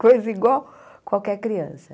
Coisa igual qualquer criança.